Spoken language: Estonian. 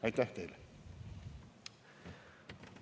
Aitäh teile!